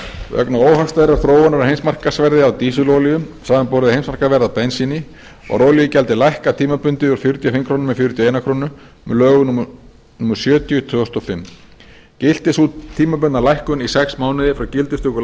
vegna óhagstæðrar þróunar á heimsmarkaðsverði á dísilolíu samanborið við heimsmarkaðsverðs á bensíni var olíugjaldið lækkað tímabundið úr fjörutíu og fimm krónur í fjörutíu og eina krónu með lögum númer sjötíu tvö þúsund og fimm gilti sú tímabundna lækkun í sex mánuði frá gildistöku